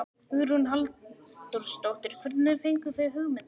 Hugrún Halldórsdóttir: Hvernig fenguð þið hugmyndina?